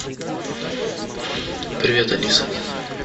привет алиса